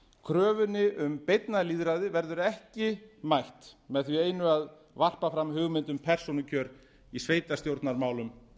kröfunni um beinna lýðræði verður ekki mætt með því einu að varpa fram hugmynd um persónukjör í sveitarstjórnarmálum